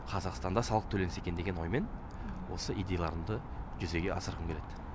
қазақстанда салық төленсе екен деген оймен осы идеяларымды жүзеге асырғым келеді